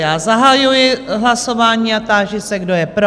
Já zahajuji hlasování a táži se, kdo je pro?